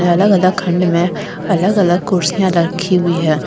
अलग अलग खंड में अलग अलग कुर्सियां रखी हुई है।